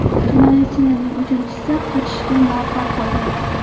Jinoyatchilarning uchinchisi qochishga muvaffaq bo‘lgan.